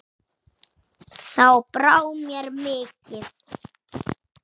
Þá brá mér mikið